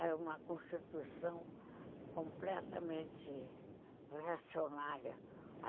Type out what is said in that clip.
Era uma constituição completamente reacionária